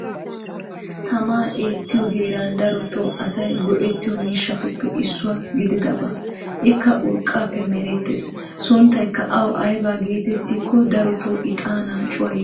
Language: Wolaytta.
Tamaa eettiyo heeran darotoo asay goettiyo miishshatuppe issuwa gididdaba. ikka urqaappe meretees. sunttaykka awu aybba geetetti giikko darotoo ixaanaa cuwayiyoogaa.